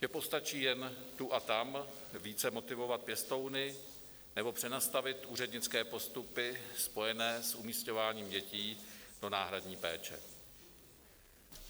Že postačí jen tu a tam více motivovat pěstouny nebo přenastavit úřednické postupy spojené s umísťováním dětí do náhradní péče.